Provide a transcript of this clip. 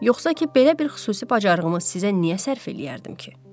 Yoxsa ki, belə bir xüsusi bacarığımı sizə niyə sərf eləyərdim ki?